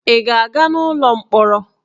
Ị ga-aga n'ụlọ mkpọrọ?